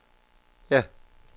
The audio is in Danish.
ja